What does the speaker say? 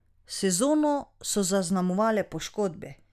Sezono so zaznamovale poškodbe.